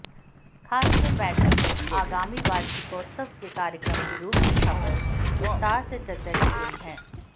खासकर बैठक में आगामी वार्षिकोत्सव के कार्यक्रम की रूपरेखा पर विस्तार से चर्चा की गई